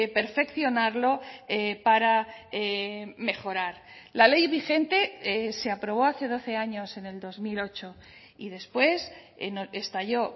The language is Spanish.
perfeccionarlo para mejorar la ley vigente se aprobó hace doce años en el dos mil ocho y después estalló